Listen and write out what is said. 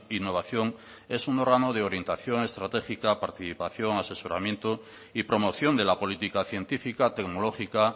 innovación es un órgano de orientación estratégica participación asesoramiento y promoción de la política científica tecnológica